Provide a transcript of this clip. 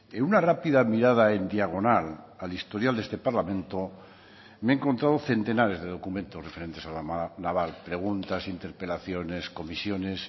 en una rápida mirada en diagonal al historial de este parlamento me he encontrado centenares de documentos referentes a la naval preguntas interpelaciones comisiones